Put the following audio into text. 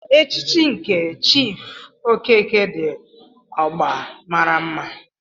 Echichi nke Chief okeke di ogba maara mma.